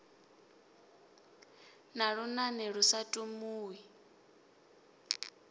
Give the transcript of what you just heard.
na lunane lu sa tumuwi